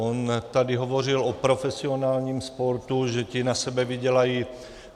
On tady hovořil o profesionálním sportu, že ti na sebe vydělají.